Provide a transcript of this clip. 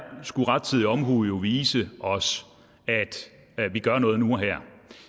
skulle rettidig omhu jo vise os at vi gør noget nu og her